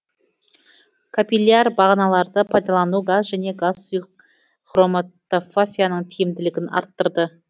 капилляр бағаналарды пайдалану газ және газ сұйық хроматофафияның тиімділігін арттырды